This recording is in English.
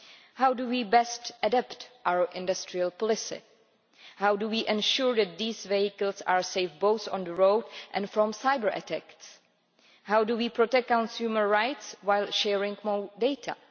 How do we best adapt our industrial policy? How do we ensure that these vehicles are safe, both on the road and from cyber-attacks? How do we protect consumer rights while sharing more data?